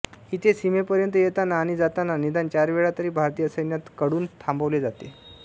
इथे सीमेपर्यंत येताना आणि जाताना निदान चार वेळा तरी भारतीय सैन्यात कडून थांबवले जाते